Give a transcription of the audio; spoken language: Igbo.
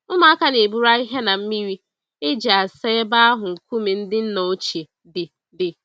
Ụmụaka na-eburu ahịhịa na mmiri e ji asa ebe ahụ nkume ndị nna ochie dị. dị.